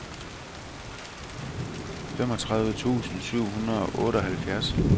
femogtredive tusind syv hundrede og otteoghalvfjerds